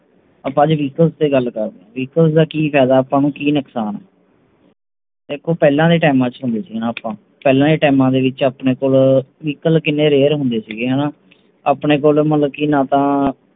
ਆਪ ਅੱਜ Vehicle ਤੇ ਗੱਲ ਕਰਦੇ ਹਾਂ Vehicle ਦਾ ਕੀ ਫਾਇਦਾ ਤੇ ਕੀ ਨੁਕਸਾਨ ਹੈ ਪਹਿਲਾਂ ਦਾ Time ਹੁੰਦਾ ਸੀ ਪਹਿਲਾ ਤੇ Time ਵਿਚ Rear ਹੀ ਹੁੰਦੇ ਸੀ ਹਾਣਾ ਆਂਪਣੇ ਕੋਲ